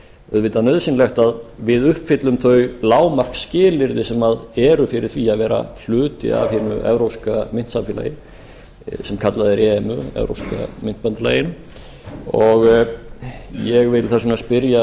auðvitað nauðsynlegt að við uppfyllum þau lágmarksskilyrði sem eru fyrir því að vera hluti af hinu evrópska myntsamfélagi sem kallað er emu evrópska myntbandalagið ég vil þess vegna spyrja